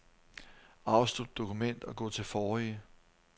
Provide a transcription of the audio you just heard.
Afslut dokument og gå til forrige.